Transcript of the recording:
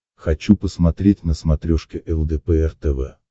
хочу посмотреть на смотрешке лдпр тв